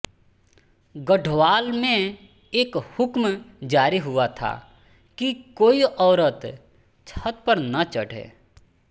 गढ़वाल में एक हुक्म जारी हुआ था कि कोई औरत छत पर न चढ़े